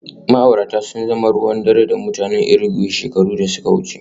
Ma'aurata sun zama ruwan dare da mutanen Irigwe shekaru da suka wuce